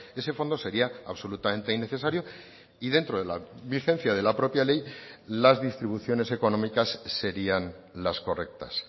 ese fondo sería absolutamente innecesario y dentro de la vigencia de la propia ley las distribuciones económicas serían las correctas